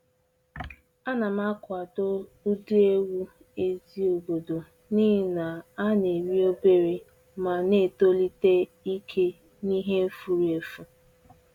A na m akwado ụdị ewu ezi obodo n’ihi na ha na-eri obere ma na-etolite ike n’ihe furu efu